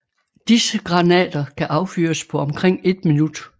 Disse granater kan affyres på omkring et minut